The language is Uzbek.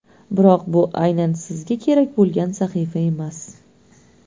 Biroq bu aynan sizga kerak bo‘lgan sahifa emas.